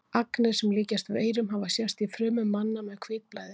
Agnir sem líkjast veirum hafa sést í frumum manna með hvítblæði.